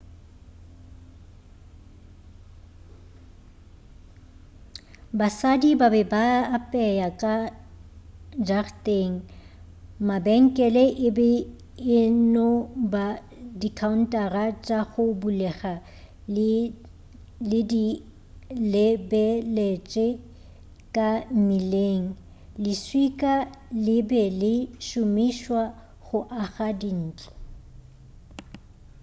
basadi ba be a apea ka jarateng mabenkele e be e no ba dikaountara tša go bulega di lebeletše ka mmileng leswika le be le šomišwa go aga dintlo